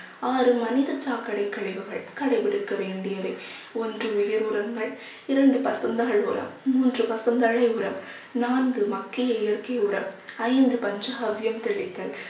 ஆறு மனித சாக்கடை கழிவுகள் கடைபிடிக்க வேண்டியவை. ஒன்று உயிர் உரங்கள் இரண்டு பசுந்தகள் உரம் மூன்று பசுந்தலை உரம் நான்கு மக்கிய இயற்கை உரம் ஐந்து பஞ்ச காவியம் தெளித்தல்